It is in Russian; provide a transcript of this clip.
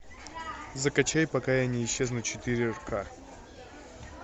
закачай пока я не исчезну четыре к